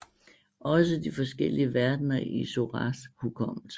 Også de forskellige verdener i Soras hukommelse